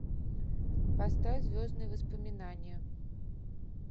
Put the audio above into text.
поставь звездные воспоминания